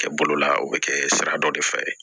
Kɛ bolola o bɛ kɛ sira dɔ de fɛ